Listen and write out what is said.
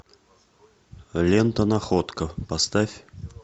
лента находка поставь